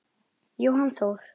Jóhann Þór.